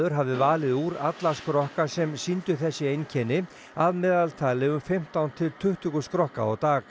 hafi valið úr alla skrokka sem sýndu þessi einkenni að meðaltali um fimmtán til tuttugu skrokka á dag